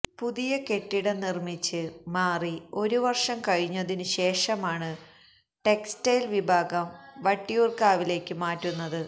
പുതിയ കെട്ടിടം നിര്മ്മിച്ച് മാറി ഒരു വര്ഷം കഴിഞ്ഞതിനു ശേഷമാണ് ടെക്സ്റ്റയില് വിഭാഗം വട്ടിയൂര്ക്കാവിലേക്ക് മാറ്റുന്നത്